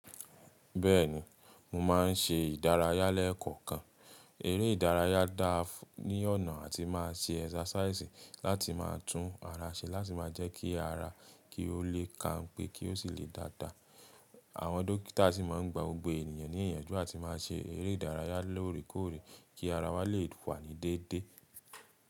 Bẹ́ẹ̀ni, mo máa ń ṣe ìdárayá lẹ́ẹ̀kọ̀kan. Eré ìdárayá dáa ní ọ̀nà atí màá ṣe exercise láti má a tún ara ṣe láti má a jẹ́ kí ara kí ó lè kanpé kí ó sì lè dáadáa. Àwọn dókítà sì máa ń gba gbogbo ènìyàn ní ìyànjú àti máa ṣe eré ìdárayá lóòrèkóòrè kí ara wa lè wà ní déédéé.